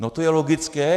No, to je logické.